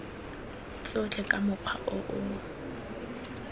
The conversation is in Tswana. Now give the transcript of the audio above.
tsotlhe ka mokgwa o o